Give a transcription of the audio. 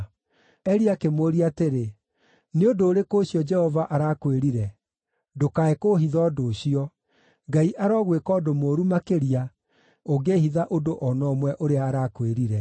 Eli akĩmũũria atĩrĩ, “Nĩ ũndũ ũrĩkũ ũcio Jehova arakwĩrire? Ndũkae kũũhitha ũndũ ũcio. Ngai arogwĩka ũndũ mũũru makĩria, ũngĩĩhitha ũndũ o na ũmwe ũrĩa arakwĩrire.”